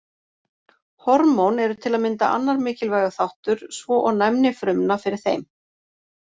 Hormón eru til að mynda annar mikilvægur þáttur svo og næmni frumna fyrir þeim.